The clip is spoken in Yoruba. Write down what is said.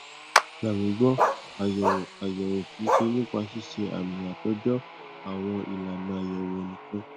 gbà mí gbọ àyẹwò àyẹwò kì í ṣe nípa ṣíṣe àmì àtòjọ àwọn ìlànà àyẹwò nìkan